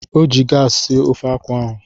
O ji gaasị sie ofe akwụ ahụ.